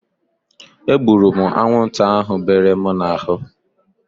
E gburu m anwụnta ahu bere m n'ahụ